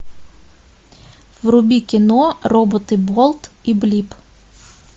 вруби кино роботы болт и блип